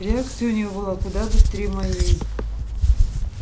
реакция у него куда быстрее моей